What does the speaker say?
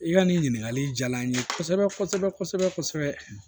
I ka nin ɲininkali diyara n ye kosɛbɛ kosɛbɛ kosɛbɛ